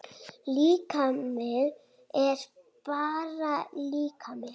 Líkami er bara líkami.